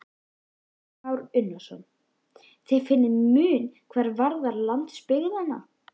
Kristján Már Unnarsson: Þið finnið mun hvað varðar landsbyggðina?